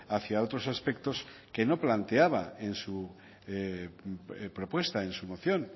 hacia otros aspectos que no planteaba en su propuesta en su moción